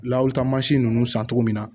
Lawili taa mansin ninnu san cogo min na